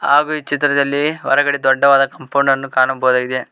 ಹಾಗು ಈ ಚಿತ್ರದಲ್ಲಿ ಹೊರಗಡೆ ದೊಡ್ಡವಾದ ಕಾಂಪೌಂಡ್ ಅನ್ನು ಕಾಣಬಹುದಾಗಿದೆ.